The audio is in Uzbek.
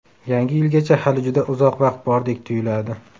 Yangi yilgacha hali juda uzoq vaqt bordek tuyuladi.